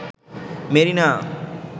Marina